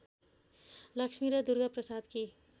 लक्ष्मी र दुर्गाप्रसादकी